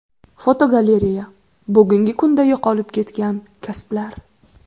Fotogalereya: Bugungi kunda yo‘qolib ketgan kasblar.